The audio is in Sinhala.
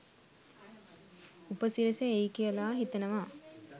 උපසිරැසි එයි කියලා හිතනවා.